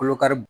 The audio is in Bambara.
Kolo kari